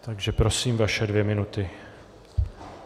Takže prosím, vaše dvě minuty.